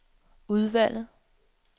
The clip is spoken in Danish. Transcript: udvalget